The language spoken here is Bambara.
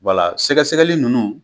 Wala sɛgɛsɛgɛli nunnu